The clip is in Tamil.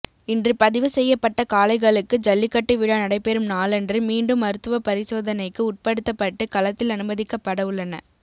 இன்று பதிவு செய்யப்பட்ட காளைகளுக்கு ஜல்லிக்கட்டு விழா நடைபெறும் நாளன்று மீண்டும் மருத்துவ பரிசோதனைக்கு உட்படுத்தப்பட்டு களத்தில் அனுமதிக்கப்பட உள்ளன